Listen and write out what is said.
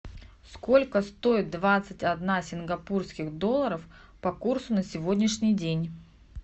сколько стоит двадцать одна сингапурских долларов по курсу на сегодняшний день